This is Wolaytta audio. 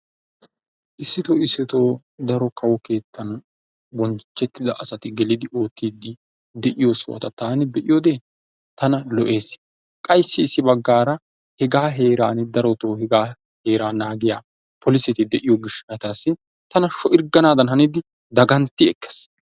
Issittoo issitto daro kawo keettan bonchchetida asati gelidi oottidi de'iyo sohota taan be'iyo wode tana lo"ess, qa issi issi baggaara hegaa heeran darotto hega heera naagiya polosseti de'ito gishshatassi tan sho'irgganadan hanidi danggantti ekkees.